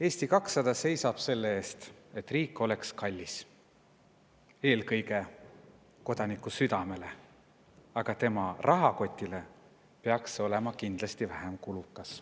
Eesti 200 seisab selle eest, et riik oleks kallis eelkõige kodaniku südamele, aga tema rahakotile peaks see olema kindlasti vähem kulukas.